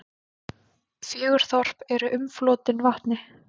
Fjögur þorp eru umflotin vatni.